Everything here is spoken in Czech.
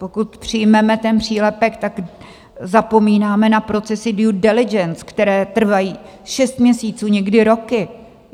Pokud přijmeme ten přílepek, tak zapomínáme na procesy due diligence, které trvají šest měsíců, někdy roky.